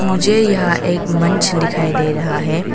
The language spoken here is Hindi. मुझे यह एक मंच दिखाई दे रहा है।